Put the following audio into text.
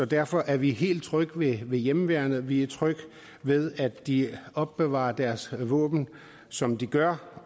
derfor er vi helt trygge ved hjemmeværnet vi er trygge ved at de opbevarer deres våben som de gør